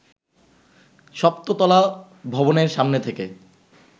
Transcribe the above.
সপ্ত তলা ভবনের সামনে থেকে